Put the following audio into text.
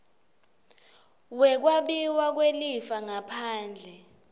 wekwabiwa kwelifa ngaphandle